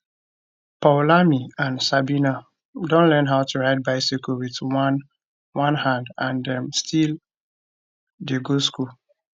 poulami and sabina don learn how to ride bicycle wit one one hand and dem still dey go school